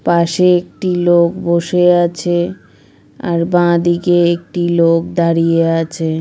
পাশে একটি লোক বসে আছে আর বাঁদিকে একটি লোক দাঁড়িয়ে আছে।